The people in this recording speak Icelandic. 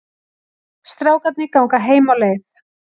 Strákarnir ganga heim á leið.